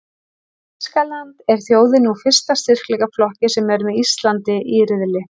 Þýskaland er þjóðin úr fyrsta styrkleikaflokki sem er með Íslandi í riðli.